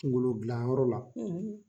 Kunkolo gilanyɔrɔ la